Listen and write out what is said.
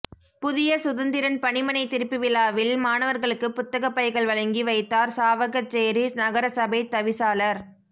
புதிய சுதந்திரன் பணிமனை திறப்புவிழாவில் மாணவர்களுக்கு புத்தக பைகள் வழங்கி வைத்தார் சாவகச்சேரி நகரசபை தவிசாளர்